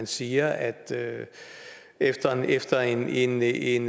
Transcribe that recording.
siger at efter efter en en